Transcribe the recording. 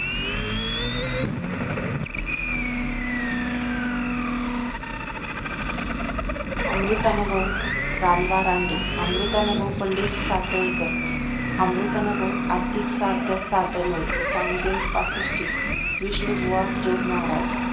अमृतानुभव रानबा रानडे अमृतानुभव पंडित सातळेकर अमृतानुभव आर्थिक सार्थ सादन्वय चांगदेव पासष्टी विष्णुबुवा जोगमहाराज